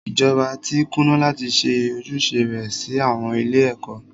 Ìjọba tí kùnà láti ṣe ojúṣe rẹ sí àwọn ilé ẹ̀kọ́.